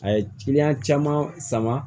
A ye kiliyan caman sama